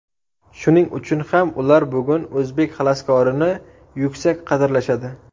Shuning uchun ham ular bugun o‘zbek xaloskorini yuksak qadrlashadi.